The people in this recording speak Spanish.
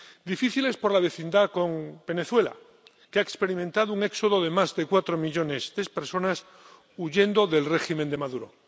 Difíciles por la vecindad con Venezuela, que ha experimentado un éxodo de más de cuatro millones de personas huyendo del régimen de Maduro.